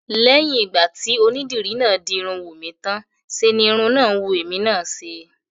Lẹ́yìn ìgbà tí onídìri náà di irun Wùnmí tán ṣe ni irun náà wù èmi náà ṣe